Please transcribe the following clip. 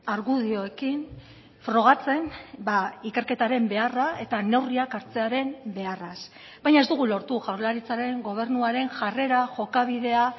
argudioekin frogatzen ikerketaren beharra eta neurriak hartzearen beharraz baina ez dugu lortu jaurlaritzaren gobernuaren jarrera jokabidea